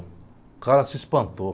O cara se espantou.